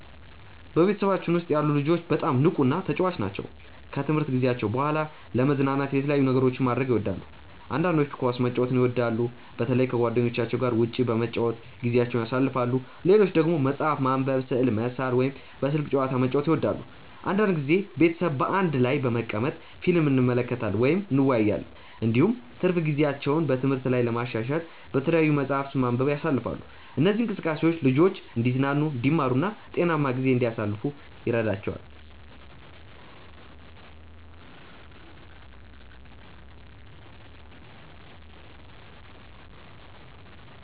በቤተሰባችን ውስጥ ያሉ ልጆች በጣም ንቁና ተጫዋች ናቸው። ከትምህርት ጊዜያቸው በኋላ ለመዝናናት የተለያዩ ነገሮችን ማድረግ ይወዳሉ። አንዳንዶቹ ኳስ መጫወትን በጣም ይወዳሉ፣ በተለይ ከጓደኞቻቸው ጋር ውጭ በመጫወት ጊዜያቸውን ያሳልፋሉ። ሌሎች ደግሞ መጽሐፍ ማንበብ፣ ስዕል መሳል ወይም በስልክ ጨዋታ መጫወት ይወዳሉ። አንዳንድ ጊዜ ቤተሰብ በአንድ ላይ በመቀመጥ ፊልም እንመለከታለን ወይም እንወያያለን። እንዲሁም ትርፍ ጊዜያቸውን በትምህርት ላይ ለማሻሻል በተለያዩ መጻሕፍት ማንበብ ያሳልፋሉ። እነዚህ እንቅስቃሴዎች ልጆቹ እንዲዝናኑ፣ እንዲማሩ እና ጤናማ ጊዜ እንዲያሳልፉ ይረዳቸዋል።